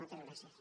moltes gràcies